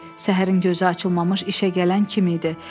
Səhərin gözü açılmamış işə gələn kim idi.